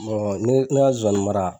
ne ka sonsannin mara